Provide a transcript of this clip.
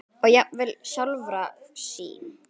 og jafnvel sjálfra sín.